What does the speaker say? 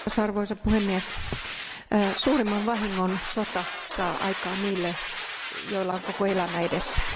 Arvoisa puhemies, suurimman vahingon sota saa aikaan niille, joilla on koko elämä edessään.